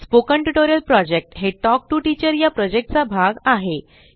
spoken tutorial project हे talk to teacher चा भाग आहे